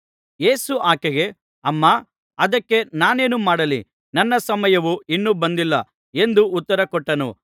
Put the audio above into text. ಯೇಸು ಆಕೆಗೆ ಅಮ್ಮಾ ಅದಕ್ಕೆ ನಾನೇನು ಮಾಡಲಿ ನನ್ನ ಸಮಯವು ಇನ್ನೂ ಬಂದಿಲ್ಲ ಎಂದು ಉತ್ತರಕೊಟ್ಟನು